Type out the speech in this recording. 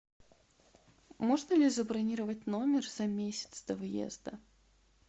можно ли забронировать номер за месяц до вьезда